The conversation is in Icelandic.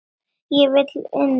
Ég vil inn, sagði Ari.